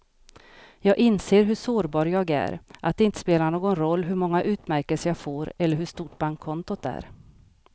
Jag inser hur sårbar jag är, att det inte spelar någon roll hur många utmärkelser jag får eller hur stort bankkontot är.